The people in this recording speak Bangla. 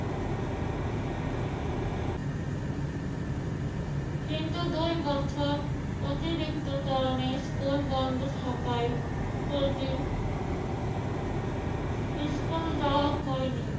কিন্তু দুই বছর অতিরিক্ত কারণে স্কুল বন্ধ থাকায় প্রতি স্কুল যাওয়া হয়নি।